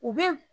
U bɛ